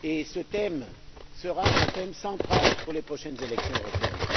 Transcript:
Ce thème sera un thème central des prochaines élections européennes.